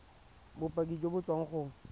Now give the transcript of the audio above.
bopaki jo bo tswang go